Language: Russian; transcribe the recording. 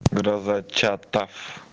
гроза чатов